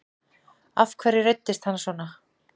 Af hverju reiddist hann svona?